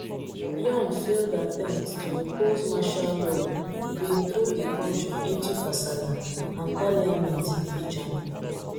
yoon failed attempt to impose martial law bin throw di kontri into kasala and parliament impeach am